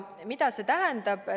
Mida see tähendab?